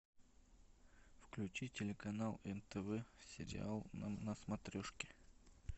включи телеканал нтв сериал на смотрешке